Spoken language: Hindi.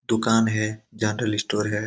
दुकान है। जनरल स्टोर है।